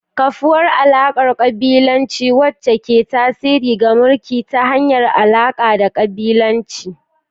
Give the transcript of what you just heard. kafuwar alakar kabilanci, wacce ke tasiri ga mulki ta hanyar alaka da kabilanci.